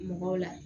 Mɔgɔw la